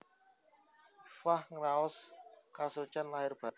Iffah ngraos kasucen lahir batin